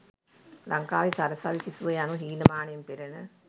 ලංකාවේ සරසවි සිසුව යනු හීනමානයෙන් පෙලෙන